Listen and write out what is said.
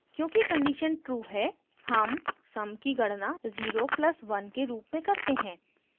क्योंकि condition true है sum sum की गणना 0 + 1 के रूप में करते हैं